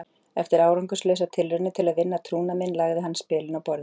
Eftir árangurslausar tilraunir til að vinna trúnað minn lagði hann spilin á borðið.